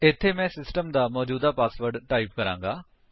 ਇੱਥੇ ਮੈਂ ਸਿਸਟਮ ਦਾ ਮੌਜੂਦਾ ਪਾਸਵਰਡ ਟਾਈਪ ਕਰਾਂਗਾ